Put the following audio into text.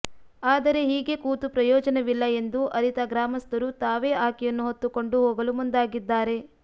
ಆದರೆ ಹೀಗೇ ಕೂತು ಪ್ರಯೋಜನವಿಲ್ಲ ಎಂದು ಅರಿತ ಗ್ರಾಮಸ್ಥರು ತಾವೇ ಆಕೆಯನ್ನು ಹೊತ್ತುಕೊಂಡು ಹೋಗಲು ಮುಂದಾಗಿದ್ದಾರೆ